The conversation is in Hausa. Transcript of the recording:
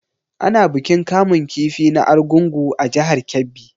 Ana bikin kamun kifi na argungu a jihar Kebbi.